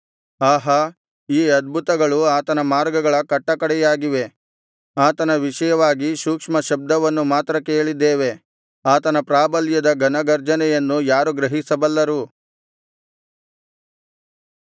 ಆಹಾ ಈ ಅದ್ಭುತಗಳು ಆತನ ಮಾರ್ಗಗಳ ಕಟ್ಟಕಡೆಯಾಗಿವೆ ಆತನ ವಿಷಯವಾಗಿ ಸೂಕ್ಷ್ಮ ಶಬ್ದವನ್ನು ಮಾತ್ರ ಕೇಳಿದ್ದೇವೆ ಆತನ ಪ್ರಾಬಲ್ಯದ ಘನಗರ್ಜನೆಯನ್ನು ಯಾರು ಗ್ರಹಿಸಬಲ್ಲರು